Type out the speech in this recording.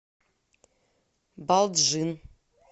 балджын